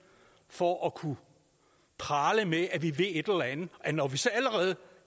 for at kunne prale med at vi ved et eller andet og når vi så allerede